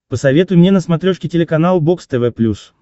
посоветуй мне на смотрешке телеканал бокс тв плюс